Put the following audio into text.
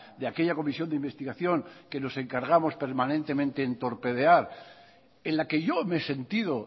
de aquella comisión de investigación que nos encargamos permanentemente en torpedear en la que yo me he sentido